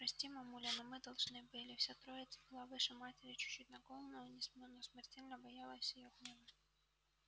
прости мамуля но мы должны были вся троица была выше матери чуть-чуть на голову но смертельно боялась её гнева